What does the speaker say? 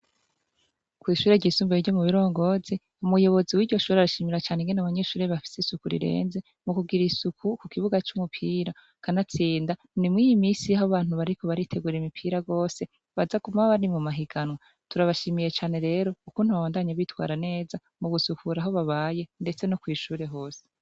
Kw'ishure ryisumbuye ryo mu Birongozi, umuyobozi w'iryo shure arashimira cane abanyeshure ingene bafise isuku rirenze mu kugira isuku ku kibuga c'umupira. Kanatsinda, ni mw'iyi misi aho abantu bariko baritegurira imipira rwose baza kuba bari mu mahiganwa. Turabashimiye cane rero ukuntu babandanya bitwara neza mu gusukura aho babaye ndetse no kw'ishure hose.